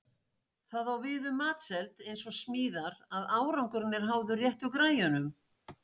Það á við um matseld eins og smíðar að árangurinn er háður réttu græjunum.